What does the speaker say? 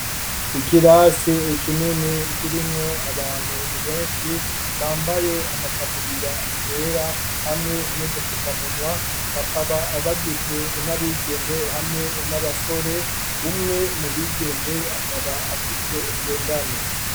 Ikirasi kinini, kirimwo abantu benshi, bambaye amataburiya yera, hamwe n'udufukamunwa; bakaba bagizwe n'abigeme, hamwe n'abasore; umwe mu bigeme, akaba afise ngendanwa.